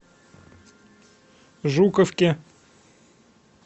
жуковке